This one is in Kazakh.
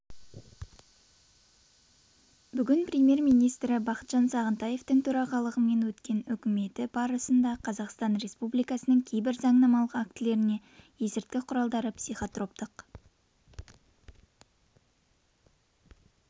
бүгін премьер-министрі бақытжан сағынтаевтың төрағалығымен өткен үкіметі барысында қазақстан республикасының кейбір заңнамалық актілеріне есірткі құралдары психотроптық